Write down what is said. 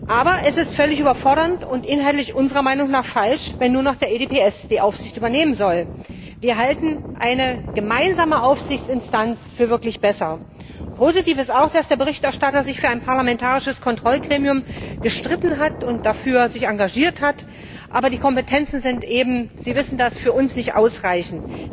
Aber es ist völlig überfordernd und inhaltlich unserer Meinung nach falsch, wenn nun auch der EDPS die Aufsicht übernehmen soll. Wir halten eine gemeinsame Aufsichtsinstanz für wirklich besser. Positiv ist auch, dass sich der Berichterstatter für ein parlamentarisches Kontrollgremium gestritten und sich dafür engagiert hat, aber die Kompetenzen sind eben Sie wissen das für uns nicht ausreichend.